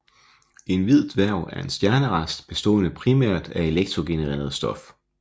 En hvid dværg er en stjernerest bestående primært af elektrondegenereret stof